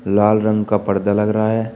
लाल रंग का पर्दा लग रहा है।